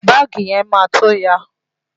Báàgì yẹn máa tó ya.